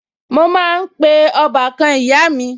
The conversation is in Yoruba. Mo máa ń pe ń pe ọbàkan ìyá mi